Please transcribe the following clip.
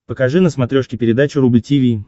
покажи на смотрешке передачу рубль ти ви